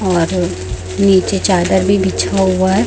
और नीचे चादर भी बिछा हुआ है।